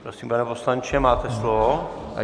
Prosím, pane poslanče, máte slovo.